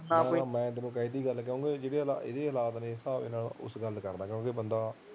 ਹਾਂ ਬਾਈ ਮੈਂ ਤੈਨੂੰ ਕਹਿ ਤੀ ਗੱਲ ਕਿਉਂਕਿ ਜਿਹੜੇ ਇਹਦੇ ਹਾਲਾਤ ਨੇ ਇਸ ਹਿਸਾਬ ਨਾਲ ਗੱਲ ਕਰਤੀ ਕਿਉਂ ਬੰਦਾ